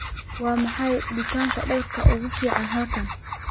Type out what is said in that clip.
waa maxay dukaanka dharka ugu fiican halkan